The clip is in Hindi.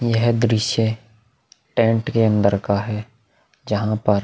यह दृश्य टेंट के अंदर का है जहां पर --